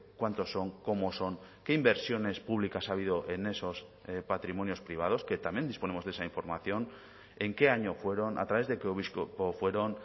cuántos son cómo son qué inversiones públicas ha habido en esos patrimonios privados que también disponemos de esa información en qué año fueron a través de qué obispo fueron